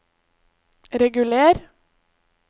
reguler